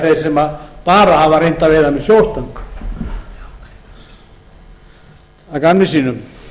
þeir sem bara hafa reynt að veiða með sjóstöng að